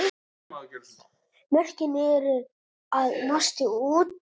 Mörkin eru að mást út.